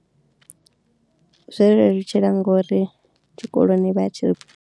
Zwo nlelutshela ngori tshikoloni vha tshi.